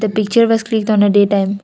picture was clicked on a day time.